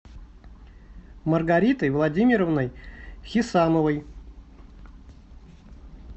маргаритой владимировной хисамовой